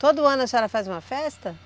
Todo ano a senhora faz uma festa?